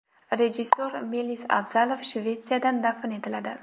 Rejissor Melis Abzalov Shvetsiyada dafn etiladi.